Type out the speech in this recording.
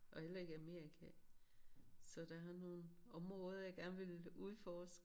Og heller ikke Amerika så der er nogle områder jeg gerne vil udforske